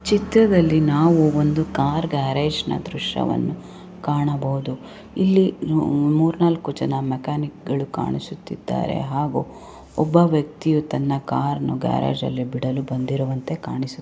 ಚಿತ್ರದಲ್ಲಿ ನಾವು ಒಂದು ಕಾರ್ ಗ್ಯಾರೇಜು ನ ದೃಶ್ಯವನ್ನು ಕಾಣಬಹುದು. ಇಲ್ಲಿ ಮೂರೂ ನಾಲ್ಕು ಜನ ಮೆಕ್ಯಾನಿಕ್ ಗಳು ಕಾಣಿಸುತ್ತಿದ್ದಾರೆ ಹಾಗು ಒಬ್ಬ ವ್ಯಕ್ತಿಯೂ ತನ್ನ ಕಾರ್ನ ಗ್ಯಾರೇಜ್ ಅಲ್ಲಿ ಬಿಡಲು ಬಂದಿರುವಂತೆ ಕಾಣಿಸು --